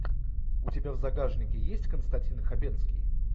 у тебя в загашнике есть константин хабенский